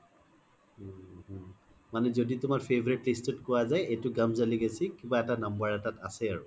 উম um মানে জদি তুমাৰ favourite dish তো কোৱা জাই এইটো কিবা এটা নম্বৰ এটাত আছে আৰু